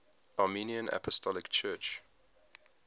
armenian apostolic church